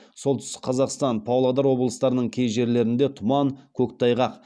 солтүстік қазақстан павлодар облыстарының кей жерлерінде тұман көктайғақ